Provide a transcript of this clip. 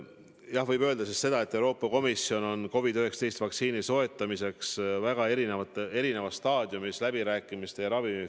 Jah, võib öelda seda, et Euroopa Komisjon on COVID-19 vaktsiini soetamiseks väga erinevas ravimifirmadega läbirääkimiste staadiumis.